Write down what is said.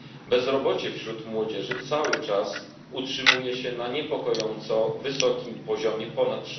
Bezrobocie wśród młodzieży cały czas utrzymuje się na niepokojąco wysokim poziomie ponad